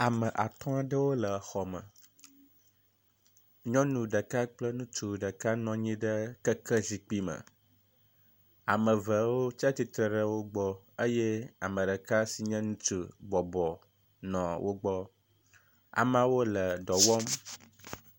Ame atɔ aɖewo le xɔ me. Nyɔnu ɖeka kple ŋutsu ɖeka nɔ anyi ɖe keke zikpui me. Ame evewo tsi atsitre ɖe wo gbɔ eye ame ɖeka si nye ŋutsu bɔbɔnɔ wo gbɔ. Ameawo le dɔ wɔm.